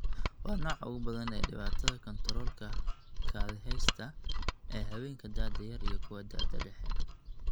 Waa nooca ugu badan ee dhibaatada kantaroolka kaadiheysta ee haweenka da'da yar iyo kuwa da'da dhexe.